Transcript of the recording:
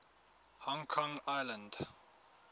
hong kong island